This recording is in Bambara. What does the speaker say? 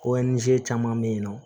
caman bɛ yen nɔ